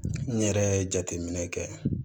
N yɛrɛ ye jateminɛ kɛ